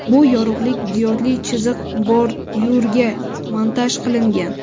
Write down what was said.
Bu yorug‘lik diodli chiziq bordyurga montaj qilingan.